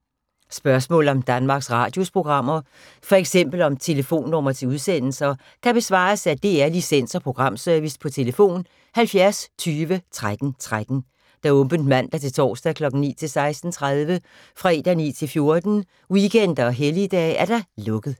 Spørgsmål om Danmarks Radios programmer, f.eks. om telefonnumre til udsendelser, kan besvares af DR Licens- og Programservice: tlf. 70 20 13 13, åbent mandag-torsdag 9.00-16.30, fredag 9.00-14.00, weekender og helligdage: lukket.